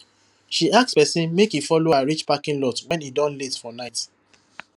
she ask person make e follow her reach parking lot when e don late for night